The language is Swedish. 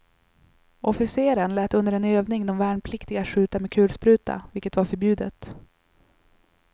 Officeren lät under en övning de värnpliktiga skjuta med kulspruta, vilket var förbjudet.